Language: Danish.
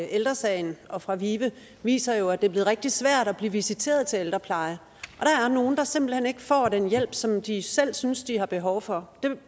ældre sagen og fra vive viser jo at det bliver rigtig svært at blive visiteret til ældrepleje og nogle der simpelt hen ikke får den hjælp som de selv synes de har behov for